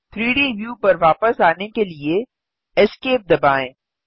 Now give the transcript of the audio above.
3डी व्यू पर वापस आने के लिए Esc दबाएँ